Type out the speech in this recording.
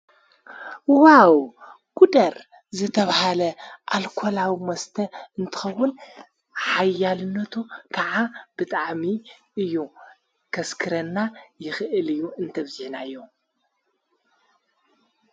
ዋው ጉደር ዘተብሃለ ኣልኮላዊ ወስተ እንተኸቡል ሓያልነቱ ከዓ ብጥዓሚ እዩ ከስክረና ይኽእል እዩ እንተብዜናዮ።